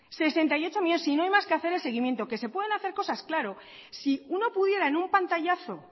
sesenta y ocho millónes si no hay más que hacer el seguimiento que se pueden hacer cosas claro si uno pudiera en un pantallazo